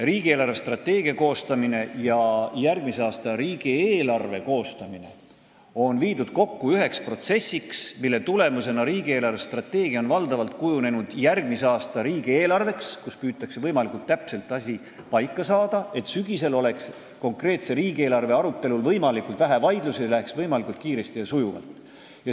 Riigi eelarvestrateegia ja järgmise aasta riigieelarve koostamine on viidud kokku üheks protsessiks, mille tulemusena on riigi eelarvestrateegia valdavalt kujunenud järgmise aasta riigieelarveks, kus püütakse võimalikult täpselt asi paika saada, et sügisel oleks konkreetse riigieelarve arutelul võimalikult vähe vaidlusi ning see läheks võimalikult kiiresti ja sujuvalt.